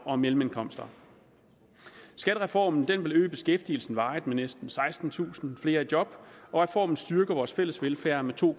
og mellemindkomster skattereformen vil øge beskæftigelsen varigt med næsten sekstentusind flere i job og reformen styrker vores fælles velfærd med to